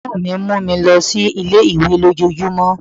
Brọ̀dá mi mú mi lọ sí ilé-ìwé lójojúmó